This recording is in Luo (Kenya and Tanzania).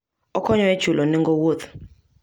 Okonyo e chulo nengo wuoth.